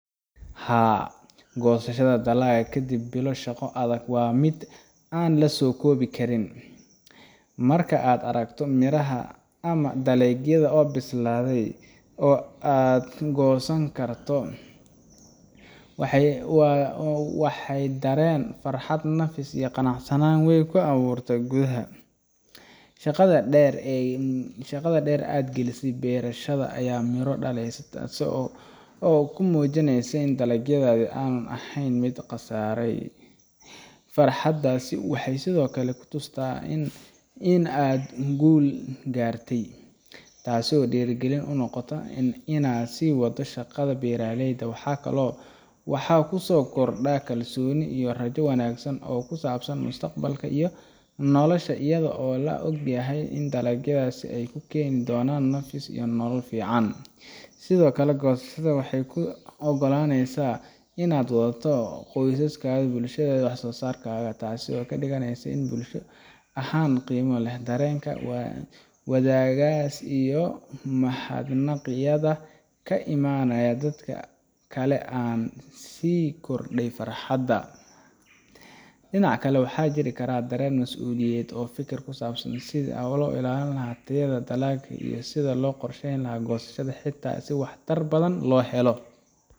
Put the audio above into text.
Haa, farxadda goosashada dalagga kadib bilo shaqo adag waa mid aan la soo koobi karin. Marka aad aragto miraha ama dalagyadaada oo bislaaday oo aad ka goosan karto, waxay dareen farxad, nafis iyo qanacsanaan weyn ku abuurtaa gudaha. Shaqadii dheer ee aad gelisay beerashada ayaa miro dhalaysa, taasoo kuu muujineysa in dadaalkaaga aanu aheyn mid la qasaaray. Farxaddaas waxay sidoo kale ku tustaa in aad guul gaartay, taasoo dhiirrigelin kuu noqota inaad sii wadato shaqada beeraleyda. Waxaa ku soo kordha kalsooni iyo rajo wanaagsan oo ku saabsan mustaqbalkaaga iyo noloshaada, iyadoo aad ogtahay in dalagyadaasi ay kuu keeni doonaan nafis iyo nolol fiican. Sidoo kale, goosashada waxay kuu ogolaaneysaa inaad la wadaagto qoyskaaga iyo bulshadaada wax-soo-saarkaaga, taasoo ka dhigaysa mid bulsho ahaan qiimo leh. Dareenka wadaaggaas iyo mahadnaqyada ka imaanaya dadka kale ayaa sii kordhiya farxadda. Dhinaca kale, waxaa jiri kara dareen masuuliyad iyo fikir ku saabsan sidii loo ilaalin lahaa tayada dalagga iyo sida loo qorsheyn lahaa goosashada xigta si waxtar badan loo helo.